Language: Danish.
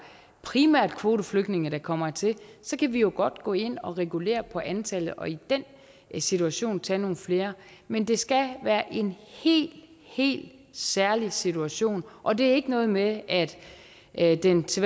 primært er kvoteflygtninge der kommer hertil så kan vi jo godt gå ind og regulere på antallet og i den situation tage nogle flere men det skal være en helt helt særlig situation og det er ikke noget med at at den til